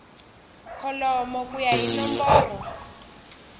kholomo ku ya hi nomboro